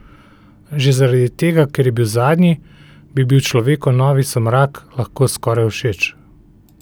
Že zaradi tega, ker je zadnji, bi bil človeku novi Somrak lahko skoraj všeč.